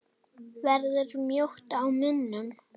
Verður mjótt á munum?